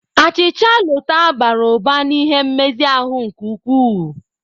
Achịcha Lota bara ụba n'ihe nmezi ahụ nke ukwuu.